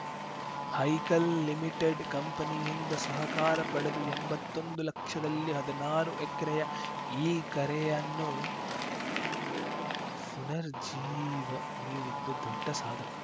Haikal limited ಕಂಪನಿಯಿಂದ ಸಹಕಾರ ಪಡೆದು ಎಂಬತ್ತೊಂದು ಲಕ್ಷದಲ್ಲಿ ಹದ್ನಾರು ಎಕ್ರೆಯ ಈ ಕೆರೆಯನ್ನು ಪುನರ್ಜೀವ ನೀಡಿದ್ದು ದೊಡ್ಡ ಸಾಧನೆ